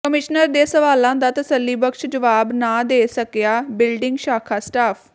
commissioner ਦੇ ਸਵਾਲਾਂ ਦਾ ਤਸੱਲੀਬਖ਼ਸ਼ ਜਵਾਬ ਨਾ ਦੇ ਸਕਿਆ ਬਿਲਡਿੰਗ ਸ਼ਾਖਾ ਸਟਾਫ